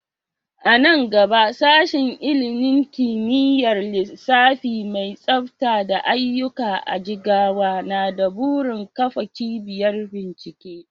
A nan gaba Sashen ilimin kimiyyar lissafi mai tsafta da aiyuka a Jigawa na da burin kafa cibiyar bincike.